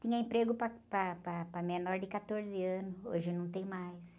Tinha emprego para, para, para, para menor de quatorze anos, hoje não tem mais.